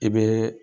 I bɛ